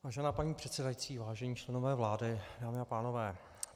Vážená paní předsedající, vážení členové vlády, dámy a pánové.